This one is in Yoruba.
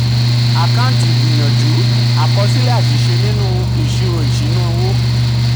àkáǹtì ìgbìyànjú: àkọsílẹ̀ àṣìṣe nínú ìṣirò ìṣúná-owó.